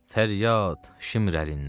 Fəryad Şimr əlindən!